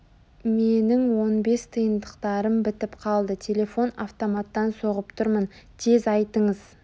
менің он бес тиындықтарым бітіп қалды телефон-автоматтан соғып тұрмын тез айтыңыз